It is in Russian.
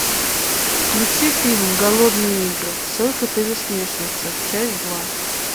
включи фильм голодные игры сойка пересмешница часть два